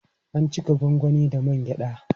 An cika gwangwani da man gyaɗa.